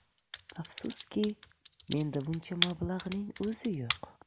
Afsuski, menda buncha mablag‘ning o‘zi yo‘q.